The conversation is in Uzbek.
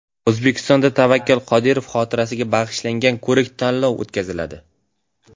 O‘zbekistonda Tavakkal Qodirov xotirasiga bag‘ishlangan ko‘rik-tanlov o‘tkaziladi.